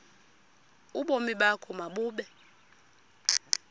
ubomi bakho mabube